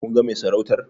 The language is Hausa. Kun ga mai sarautar?